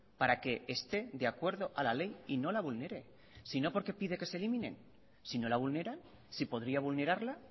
para que esté de acuerdo a la ley y no la vulnere sino por qué pide que se eliminen si no la vulneran si podría vulnerarla